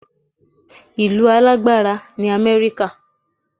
Ìlú alágbára ni Amẹ́ríkà